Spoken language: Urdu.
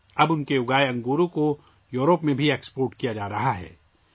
اب اس کے اگائے ہوئے انگور یوروپ کو بھی برآمد کیے جا رہے ہیں